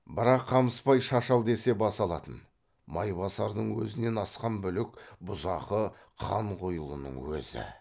бірақ қамысбай шаш ал десе бас алатын майбасардың өзінен асқан бүлік бұзақы қанқұйлының өзі